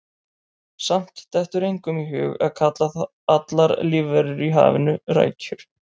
Samt dettur engum í hug að kalla allar lífverur í hafinu rækjur.